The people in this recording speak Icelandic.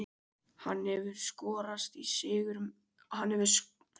Hann hefur skorað sigurmörk í síðustu tveimur landsleikjum með Ísland.